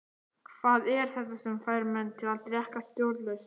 Hvað er þetta sem fær menn til að drekka stjórnlaust?